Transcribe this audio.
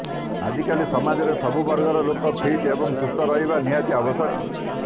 ଆଜିକାଲି ସମାଜରେ ସବୁ ବର୍ଗର ଲୋକ ଫିଟ୍ ଏବଂ ସୁସ୍ଥ ରହିବା ନିହାତୀ ଆବଶ୍ୟକ